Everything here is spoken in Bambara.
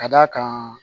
Ka d'a kan